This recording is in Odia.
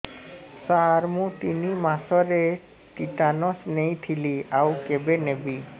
ସାର ମୁ ତିନି ମାସରେ ଟିଟାନସ ନେଇଥିଲି ଆଉ କେବେ ନେବି